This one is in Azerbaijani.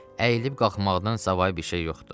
Əyilib qalxmaqdan savayı bir şey yoxdur.